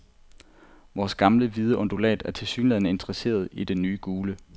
Vores gamle hvide undulat er tilsyneladende interesseret i den nye gule.